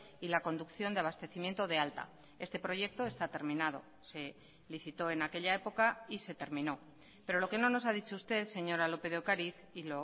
y la conducción de abastecimiento de alta este proyecto está terminado se licitó en aquella época y se terminó pero lo que no nos ha dicho usted señora lópez de ocariz y